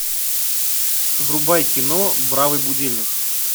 врубай кино бравый будильник